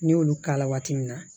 N'i y'olu k'a la waati min na